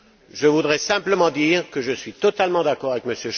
Je voudrais simplement dire que je suis totalement d'accord avec M.